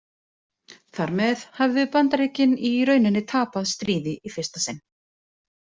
Þar með höfðu Bandaríkin í rauninni tapað stríði í fyrsta sinn.